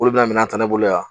Olu bɛna minan ta ne bolo yan